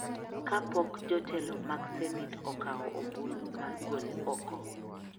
kapok jotelo mag senet okawo ombulu mar gole oko,